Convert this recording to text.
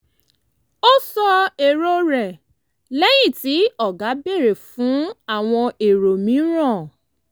ó sọ èrò rẹ̀ lẹ́yìn tí ọ̀gá béèrè fún àwọn èrò mìíràn